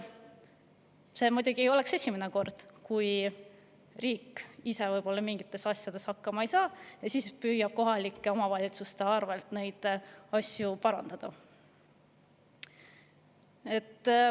See muidugi ei oleks esimene kord, kui riik ise mingite asjadega võib-olla hakkama ei saa ja siis püüab kohalike omavalitsuste arvel neid asju parandada.